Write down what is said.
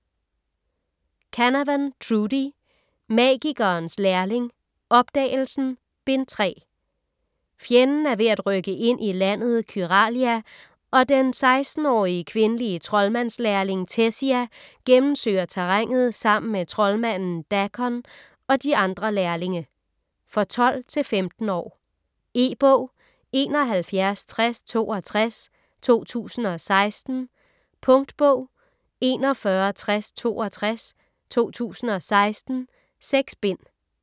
Canavan, Trudi: Magikerens lærling: Opdagelsen: Bind 3 Fjenden er ved at rykke ind i landet Kyralia, og den 16-årige kvindelige troldmandslærling Tessia gennemsøger terrænet sammen med troldmanden Dakon og de andre lærlinge. For 12-15 år. E-bog 716062 2016. Punktbog 416062 2016. 6 bind.